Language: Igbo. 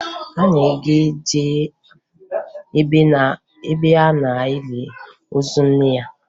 Anyị ga-eje ebe a na-eli ozu nne ya